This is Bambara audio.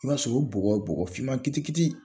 I b'a sɔrɔ o bɔgɔ bɔgɔ finman kitikiti